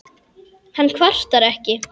Hann kvartar ekki.